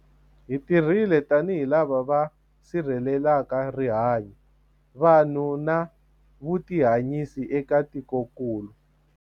Hi tirhile tanihi lava va si rhelelaka rihanyu, vanhu na vutihanyisi eka tikokulu.